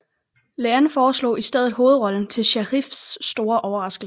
Lean foreslog i stedet hovedrollen til Sharifs store overraskelse